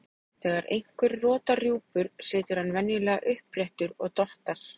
Þegar einhver rotar rjúpur situr hann venjulega uppréttur og dottar.